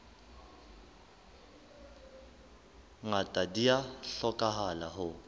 ngata di a hlokahala ho